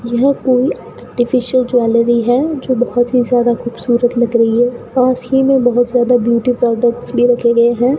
यह कोई artificial jewellery है जो बहोत ही ज्यादा खूबसूरत लग रही है पास ही में बहोत ज्यादा ब्यूटी प्रोडक्ट्स भी रखे गए हैं।